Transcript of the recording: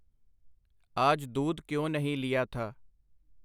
ਆਜ ਦੂਧ ਕਿਉਂ ਨਹੀਂ ਲੀਆ ਥਾ ?”.